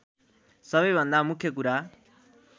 सबैभन्दा मुख्य कुरा